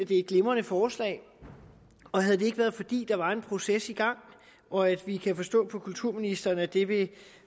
det er et glimrende forslag og havde det ikke været fordi der er en proces i gang og at vi kan forstå på kulturministeren at det vil